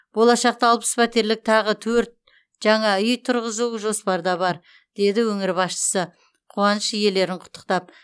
болашақта алпыс пәтерлік тағы төрт жаңа үй тұрғызу жоспарда бар деді өңір басшысы қуаныш иелерін құттықтап